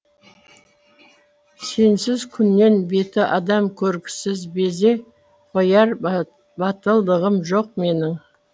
сенсіз күннен беті адам көргісіз безе қояр батылдығым жоқ менің